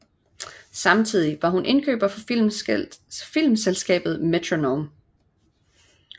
Samtidig var hun indkøber for filmselskabet Metronome